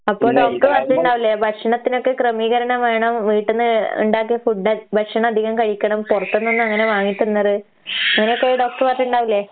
അപ്പൊ ഡോക്ടർ പറഞ്ഞിണ്ടാവില്ലേ ഭക്ഷണത്തിനൊക്കെ ക്രമീകരണം വേണം, വീട്ട്ന്ന് ഇണ്ടാക്കിയ ഫുഡ് ഭ ഭക്ഷണധികം കഴിക്കണം, പൊറത്ത്ന്നൊന്നും അങ്ങനെ വാങ്ങിത്തിന്നര് അങ്ങനൊക്കെ ഡോക്ടറ് പറഞ്ഞിണ്ടാവില്ലേ?